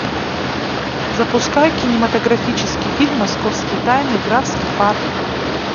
запускай кинематографический фильм московские тайны графский парк